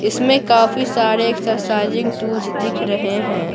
इसमें काफी सारे एक्सरसाइजिंग टूल्स दिख रहे हैं।